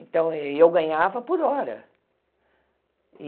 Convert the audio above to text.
Então, ê eu ganhava por hora.